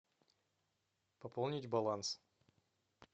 пополнить баланс